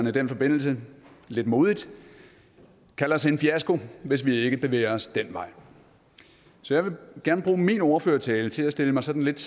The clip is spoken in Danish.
i den forbindelse lidt modigt kald os en fiasko hvis vi ikke bevæger os den vej så jeg vil gerne bruge min ordførertale til at stille mig sådan lidt